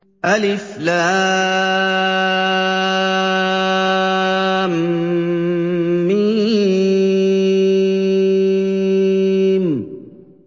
الم